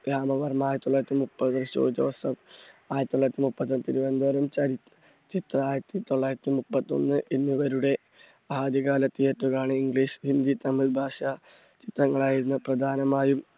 രാമവർമ്മ ആയിരത്തി തൊള്ളായിരത്തി മുപ്പത് ജോ ജോസഫ് ആയിരത്തി തൊള്ളായിരത്തി മുപ്പത്, തിരുവനന്തപുരം ചരി, ചിത്ര ആയിരത്തി തൊള്ളായിരത്തി മുപ്പത്തൊന്ന് എന്നിവരുടെ ആദ്യ കാല theatre ആണ് ഇംഗ്ലീഷ്, ഹിന്ദി, തമിഴ് ഭാഷ ചിത്രങ്ങൾ ആയിരുന്നു പ്രധാനമായും.